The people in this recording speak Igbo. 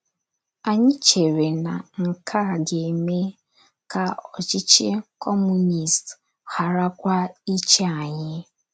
Anyị chere na nke a ga - eme ka ọchịchị Kọmunist gharakwa ịchị anyị.